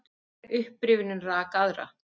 Hver upprifjunin rak aðra.